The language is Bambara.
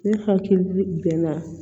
Ne hakili bɛ na